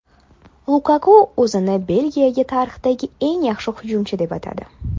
Lukaku o‘zini Belgiya tarixidagi eng yaxshi hujumchi deb atadi.